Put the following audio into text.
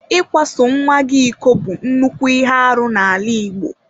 Ịkwaso nnwa gị iko bụ nnukwu ihe arụ n'ala Igbo.